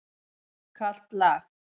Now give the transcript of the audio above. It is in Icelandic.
Mjög kalt lag.